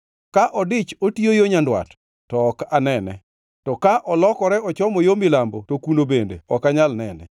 Ka odich otiyo yo nyandwat, to ok anene; to ka olokore ochomo yo milambo to kuno bende ok anyal nene.